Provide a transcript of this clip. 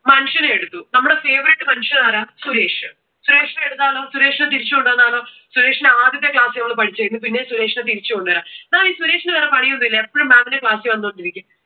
മനുഷ്യനെ എടുത്തു. നമ്മുടെ favourite മനുഷ്യൻ ആരാ? സുരേഷ്. സുരേഷിനെ എടുത്താലോ? സുരേഷിനെ തിരിച്ചുകൊണ്ടുവന്നാലോ? സുരേഷിനെ ആദ്യത്തെ ക്ലാസ്സിൽ നമ്മൾ പഠിച്ച കഴിഞ്ഞു. പിന്നേം സുരേഷിനെ നമുക് തിരിച്ചു കൊണ്ടുവരാം. ഈ സുരേഷിന് വേറെ പണി ഒന്നുമില്ലേ? എപ്പോഴും maam ന്റെ ക്ലാസ്സിൽ വന്നുകൊണ്ടിരിക്കും.